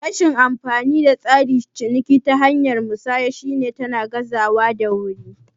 Rashin amfanin tsarin ciniki ta hanyar musanya shi ne tana gazantawa da wuri